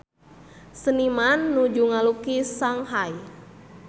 Seniman nuju ngalukis Shanghai